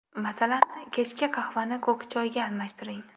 Masalan, kechki qahvani ko‘k choyga almashtiring.